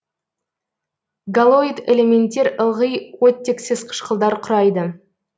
галоид элементтер ылғи оттексіз қышқылдар құрайды